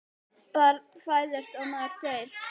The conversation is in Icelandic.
Barn fæðist og maður deyr.